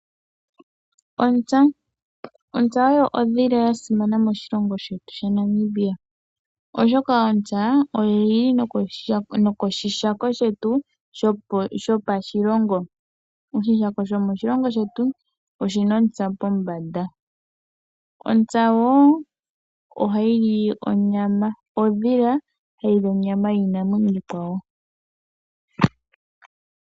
Ontsa oyo ondhila yasimana moshilongo shetu Namibia, oshoka oyili yathanekwa nokoshihako shoshilongo pombanda yasho. Ontsa ohayi li onyama yiinanwenyo iikwawo.